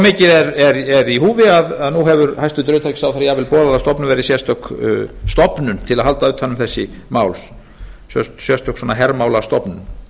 mikið er í húfi að nú hefur hæstvirtur utanríkisráðherra jafnvel boðað að stofnuð verði sérstök stofnun til að halda utan um þessi mál sérstök hermálastofnun